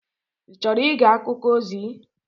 Ị chọrọ ige akụkọ ozi?